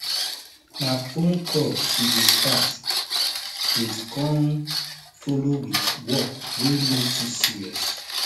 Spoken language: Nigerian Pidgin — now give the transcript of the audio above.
na phone call she dey start with con follow with work wey no too serious